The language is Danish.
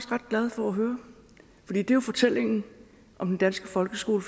ret glad for at høre for det er jo fortællingen om den danske folkeskole